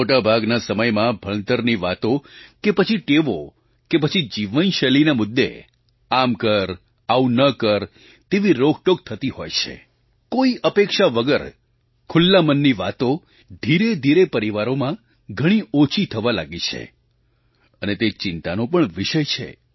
મોટા ભાગના સમયમાં ભણતરની વાતો કે પછી ટેવો કે પછી જીવનશૈલીના મુદ્દે આમ કર આવું ન કર તેવી રોકટોક થતી હોય છે કોઈ અપેક્ષા વગર ખુલ્લા મનની વાતો ધીરેધીરે પરિવારોમાં ઘણી ઓછી થવા લાગી છે અને તે ચિંતાનો પણ વિષય છે